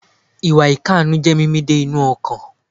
Ìwà ìkànú jé mímì dé inú ọkàn